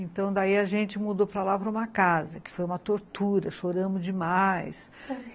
Então daí a gente mudou para lá para uma casa, que foi uma tortura, choramos demais.